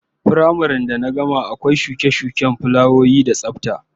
Firamare da na gama akwai shuke-shuken fulawoyi da tsafta